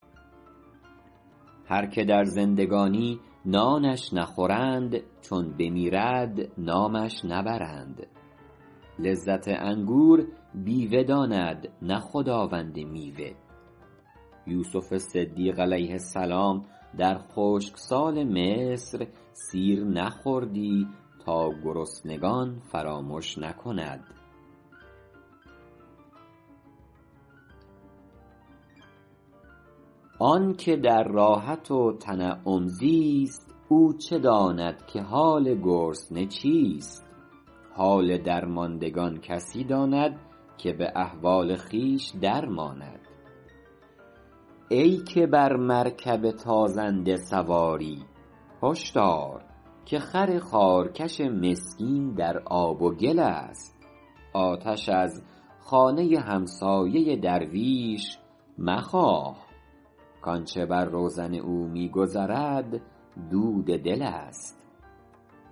هر که در زندگانی نانش نخورند چون بمیرد نامش نبرند لذت انگور بیوه داند نه خداوند میوه یوسف صدیق علیه السلام در خشکسال مصر سیر نخوردی تا گرسنگان فراموش نکند آن که در راحت و تنعم زیست او چه داند که حال گرسنه چیست حال درماندگان کسی داند که به احوال خویش در ماند ای که بر مرکب تازنده سواری هش دار که خر خارکش مسکین در آب و گل است آتش از خانه همسایه درویش مخواه کآنچه بر روزن او می گذرد دود دل است